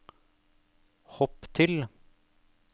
hopp til